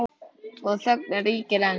Og þögnin ríkir ein.